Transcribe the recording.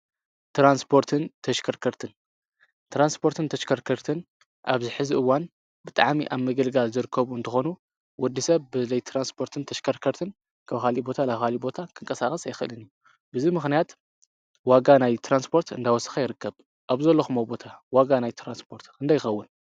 ትራንስፖርትን ተሽከርከርትን ትራንስፖርትን ተሽከርከርትን አብዚ ሕዚ እዋን ብጣዕሚ አብ ምግልጋል ዝርከቡ እንትኮኑ ወደስብ ብዘይ ትራንስርት ተሽከርክርትን ካብ ካሊእ ናብ ካሊእ ቦታ ክንቀሳቀስ አይክእልን:: በዚ ምክንያት ዋጋ ናይ ትራንስፓርት እናወስከ ይርከብ ። አብ ዘለክምዎ ቦታ ዋጋ ናይ ትራንስፓርት ክንደይ ይክውን?